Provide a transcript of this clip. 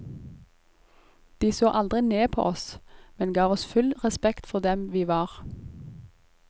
De så aldri ned på oss, men ga oss full respekt for dem vi var.